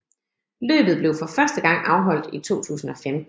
Løbet blev for første gang afholdt i 2015